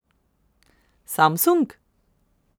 Samsung?